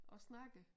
Og snakker